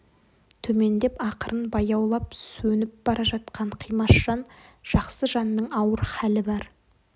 төмендеп ақырын баяулап сөніп бара жатқан қимас жан жақсы жанның ауыр халі бар